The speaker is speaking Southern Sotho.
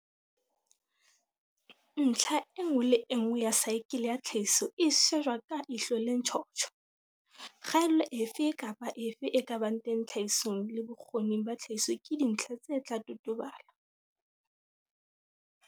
Ntlha e nngwe le e nngwe ya saekele ya tlhahiso e shejwa ka ihlo le ntjhotjho. Kgaello efe kapa efe e ka bang teng tlhahisong le bokgoning ba tlhahiso ke dintlha tse tla totobala.